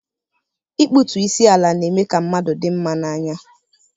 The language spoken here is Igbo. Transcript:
Ikputu isi ala na-eme ka mmadụ dị mma n'anya.